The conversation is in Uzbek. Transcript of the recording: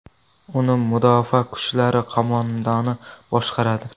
Uni Mudofaa kuchlari qo‘mondoni boshqaradi.